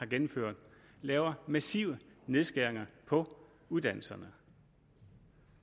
gennemfører laver massive nedskæringer på uddannelserne